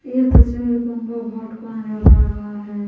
यह तस्वीर गंगा घाट का नजर आ रहा है।